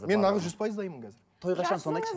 мен нағыз жүз пайыз дайынмын қазір той қашан соны айтшы